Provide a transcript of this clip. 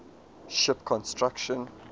ship construction